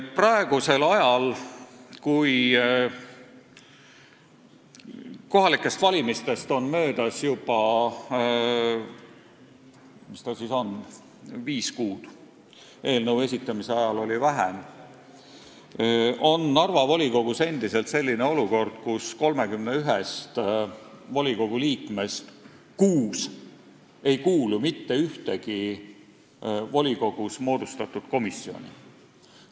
Praegu, kui kohalikest valimistest on möödas juba viis kuud – eelnõu esitamise ajal oli möödunud vähem aega –, on Narva volikogus endiselt selline olukord, kus 31-st volikogu liikmest kuus ei kuulu mitte ühtegi volikogus moodustatud komisjoni.